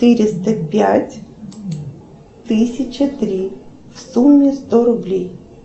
четыреста пять тысяча три в сумме сто рублей